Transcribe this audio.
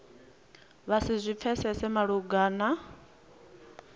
vha si zwi pfesese malugana